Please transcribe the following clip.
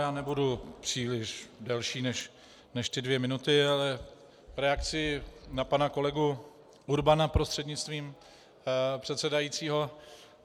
Já nebudu příliš delší než ty dvě minuty, ale reakci na pana kolegu Urbana prostřednictvím předsedajícího.